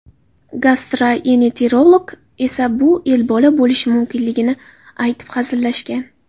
Gastroeneterolog esa bu Ebola bo‘lishi mumkinligini aytib hazillashgan.